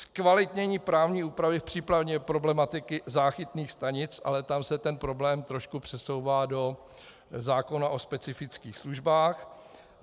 Zkvalitnění právní úpravy v případě problematiky záchytných stanic, ale tam se ten problém trošku přesouvá do zákona o specifických službách.